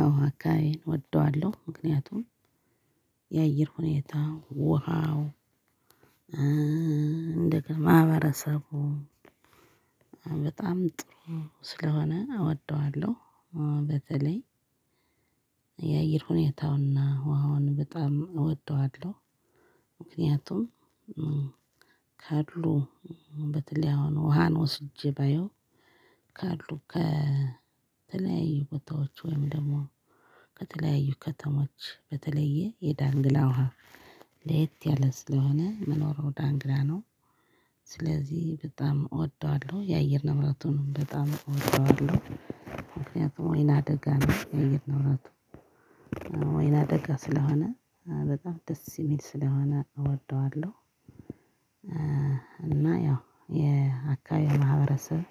አዎ አካባቢን እወደዋለሁ ምክንያቱም የአየር ሁኔታ ውሃው እንደገና ማህበረሰቡ በጣም ጥሩ ስለሆነ እወደዋለሁ። በተለይ የአየር ሁኔታውና ውሃውን በጣም እወደዋለሁ። ምክንያቱም ካሉ በተለይ አሁን ውሃን ወስጄ ባየው ካሉ ከተለያዩ ቦታዎች ወይም ደግሞ ከተለያዩ ከተሞች በተለየ የዳንግላ ውሃ ለየት ያለ ስለሆነ መኖረው ዳንግላ ነው። ስለዚህ በጣም እወደዋለሁ የየር ንብራቱንም በጣም እወደዋለሁ ምክንያቱም ወይና ደጋ ነው የየር ንብራቱ ወይና ደጋ ስለሆነ በጣም ደስ የሚል ስለሆነ እወደዋለሁ። እና ያው የአካባቢ ማህበረሰብ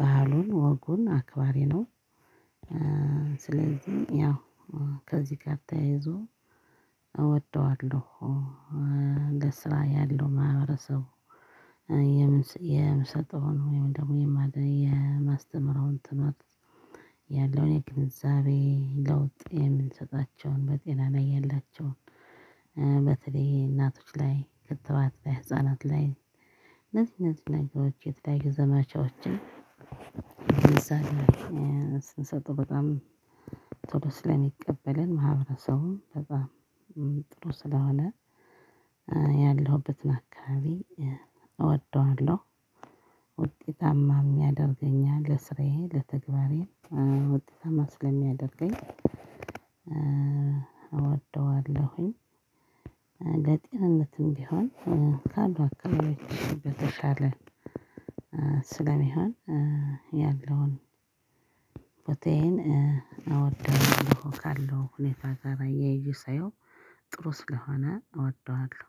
ባህሉን ወጉን አክባሪ ነው። ስለዚህ ያው ከዚህ ጋር ተያይዞ እወደዋለሁ። ለስራ ያለው ማህበረሰቡ የምሰጠውን ወይም ደግሞ የማስተምረውን ትምህርት ያለውን የግንዛቤ ለውጥ የምንሰጣቸውን በጤና ያላቸውን በተለይ እናቶች ላይ ክትባት ላይ ህፃናት ላይ እነዚህ እነዚህ ነገሮች የተለያዩ ዘመቻዎችን እንደዛ ነው ስንሰጥ በጣም ጥሩ ስለሚቀበለን ማህበረሰቡም በጣም ጥሩ ስለሆነ ያለሁበትን አካባቢ እወደዋለሁ። ውጤታማ የሚያደርገኝ ለስራዬ ለተግባሬ ውጤታማ ስለሚያደርገኝ እወደዋለሁኝ። ለጤንነትም ቢሆን ካሉ አካባቢ በተሻለ ስለሚሆን ያለውን ፖቴይን እወደዋለሁ ካለው ሁኔታ ጋር አያይዤ ሳየው ጥሩ ስለሆነ እወደዋለሁ